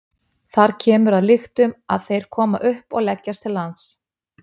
Þar kemur að lyktum að þeir koma upp og leggjast til lands.